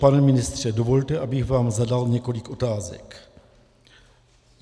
Pane ministře, dovolte, abych vám zadal několik otázek.